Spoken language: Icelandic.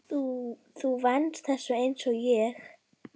Þú venst þessu einsog ég.